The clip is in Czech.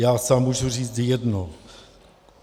Já sám můžu říct jedno.